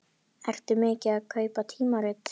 Ertu mikið að kaupa tímarit?